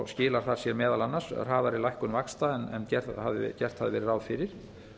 skilar það sér meðal annars í hraðari lækkun vaxta en gert hafði verið ráð fyrir